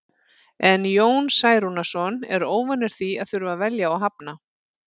En Jón Særúnarson er óvanur því að þurfa að velja og hafna.